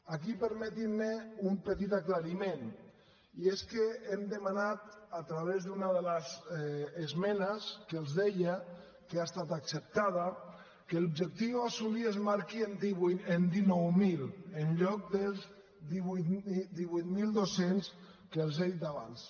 aquí permetin me un petit aclariment i és que hem demanat a través d’una de les esmenes que els deia que ha estat acceptada que l’objectiu a assolir es marqui en dinou mil en lloc dels divuit mil dos cents que els he dit abans